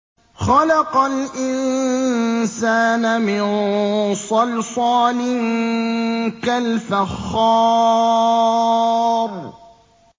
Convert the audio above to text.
خَلَقَ الْإِنسَانَ مِن صَلْصَالٍ كَالْفَخَّارِ